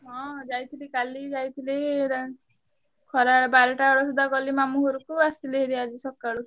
ହଁ ଯାଇଥିଲି କାଲି ଯାଇଥିଲି ~ରା ଖରାବେଳେ ବାରଟା ବେଳ ଶୁଦ୍ଧା ଗଲି ମାମୁଁ ଘରୁ କୁ ଆସିଲି ଭାରି ଆଜି ସକାଳୁ।